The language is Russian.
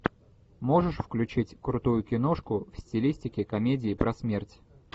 можешь включить крутую киношку в стилистике комедии про смерть